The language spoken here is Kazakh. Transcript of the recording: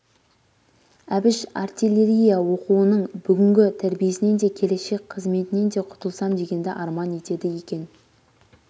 әбіш артиллерия оқуының бүгінгі тәрбиесінен де келешек қызметінен де құтылсам дегенді арман етеді екен